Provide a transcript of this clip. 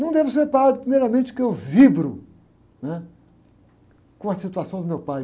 Não devo ser padre, primeiramente, porque eu vibro, né? Com a situação do meu pai.